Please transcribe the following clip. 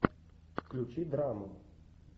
включи драму